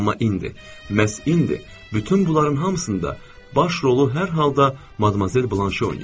Amma indi, məhz indi bütün bunların hamısında baş rolu hər halda madamoyzel Blaşe oynayır.